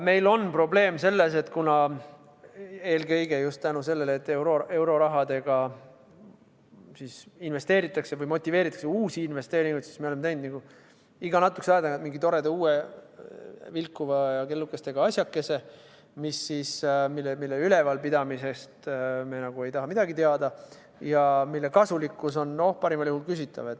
Meil on probleem selles, et kuna eelkõige just tänu sellele, et eurorahadega motiveeritakse uusi investeeringuid, siis me oleme teinud iga natukese aja tagant mingi toreda uue vilkuva ja kellukestega asjakese, mille ülevalpidamisest me ei taha midagi teada ja mille kasulikkus on parimal juhul küsitav.